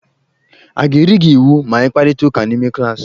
A ga-eri gi iwu ma ịkparịta ụka n'ime klaasị?